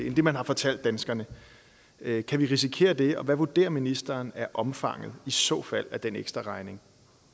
end det man har fortalt danskerne kan kan vi risikere det og hvad vurderer ministeren er omfanget i så fald af den ekstraregning